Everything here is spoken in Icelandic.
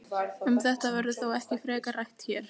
Um þetta verður þó ekki frekar rætt hér.